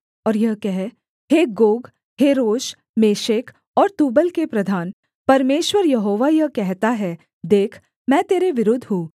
और यह कह हे गोग हे रोश मेशेक और तूबल के प्रधान परमेश्वर यहोवा यह कहता है देख मैं तेरे विरुद्ध हूँ